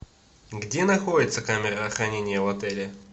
где находится камера хранения в отеле